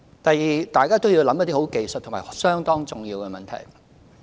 第二，大家要思考一些很技術和相當重要的問題。